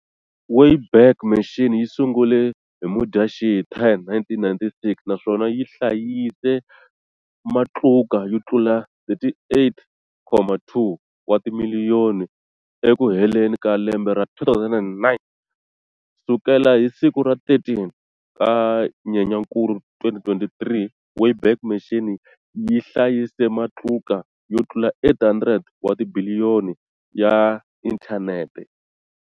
Wayback Machine yi sungule hi Mudyaxihi 10, 1996, naswona yi hlayise matluka yo tlula 38.2 wa timiliyoni eku heleni ka lembe ra 2009, sukela hi siku ra 13 ka Nyenyankulu 2023, Wayback Machine yi hlayise matluka yo tlula 800 wa tibiliyoni ya inthaneti.